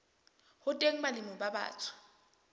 ho teng balemi ba batsho